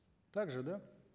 так же да